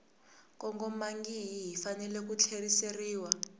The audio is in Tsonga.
kongomangihi yi fanele ku tlheriseriwa